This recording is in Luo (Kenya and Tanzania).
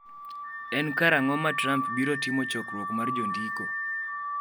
En karang’o ma Trump biro timo chokruok mar jondiko?